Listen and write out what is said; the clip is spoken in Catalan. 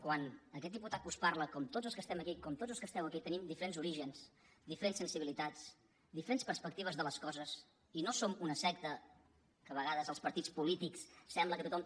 quan aquest diputat que us parla com tots els que estem aquí com tots els que esteu aquí tenim diferents orígens diferents sensibilitats diferents perspectives de les coses i no som una secta que a vegades els partits polítics sembla que tothom